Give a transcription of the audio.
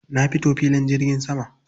Na fito filin jirgin sama.